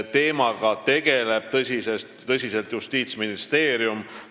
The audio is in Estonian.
Teemaga tegeleb tõsiselt Justiitsministeerium.